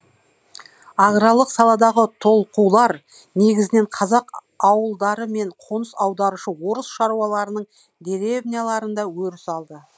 аграрлық саладағы толқулар негізінен қазақ ауылдары мен қоныс аударушы орыс шаруаларының деревняларында өріс алды